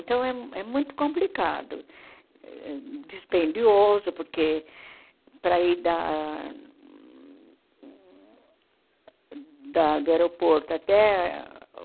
Então, é é muito complicado, dispendioso, porque, para ir da da do aeroporto até